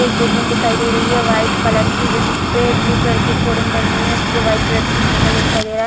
एक बिल्डिंग दिखाई दे रही हैं व्हाइट कलर की जिसपे ब्लू कलर की खोडिंग बनी हुई हैं उस पर व्हाइट कलर से कुछ लिखा हुआ दिखाई दे रहा है।